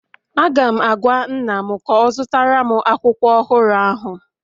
Aga m agwa nna'm ka ọ zụtara m akwụkwọ ọhụrụ ahụ